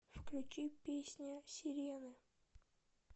включи песня сирены